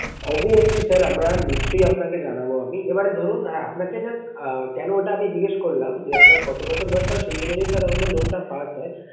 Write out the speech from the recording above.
Obviously sir আমরা নিশ্চই আপনাকে জানাবো আমি। এবারে ধরুন হ্যাঁ আপনাকে just আহ কেন ওটা আমি জিজ্ঞেস করলাম যে আপনার কত বছর বয়েস হবে সেই অনুযায়ী sir আমাদের loan টা pass হয়।